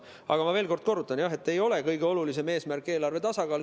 Aga ma veel kord kordan, jah, et kõige olulisem eesmärk ei ole eelarve tasakaal.